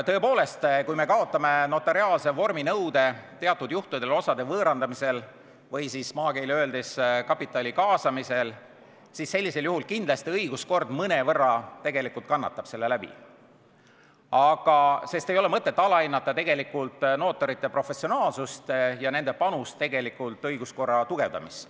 Tõepoolest, kui me kaotame notariaalse vorminõude teatud juhtudel osade võõrandamisel, või maakeeli öeldes, kapitali kaasamisel, siis kindlasti õiguskord mõnevõrra kannatab, sest ei ole mõtet alahinnata notarite professionaalsust ja nende panust õiguskorra tugevdamisse.